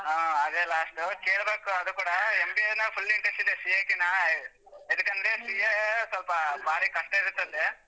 ಹಾ, ಅದೇ last ಕೇಳ್ಬೇಕು ಅದು ಕೂಡಾ MBA ನೇ full interest ಇದೆ CA ಕಿನ್ನಾ ಎದಕಂದ್ರೆ CA ಸ್ವಲ್ಪ ಬಾರಿ ಕಷ್ಟ ಇರತ್ತಂತೆ.